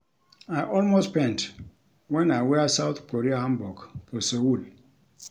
I almost faint wen I wear South Korea Hanbok for Seoul